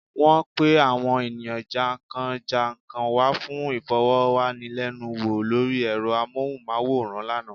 Wọ́n pe àwọn ènìyàn jà n kán jà n kán wa fun ìfọ̀rọ̀wánilẹ́nuwò lórí ẹ̀rọ amóhùnmáwòràn lánàá